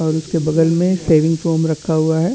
और उसके बगल मे शेविंग फोम रखा हुआ है।